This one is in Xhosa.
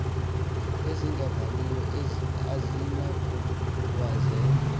ezingavaniyo azinakuba zezo